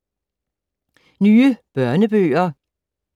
Nye børnebøger